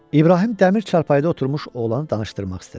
İbrahim dəmir çarpayda oturmuş oğlanı danışdırmaq istədi.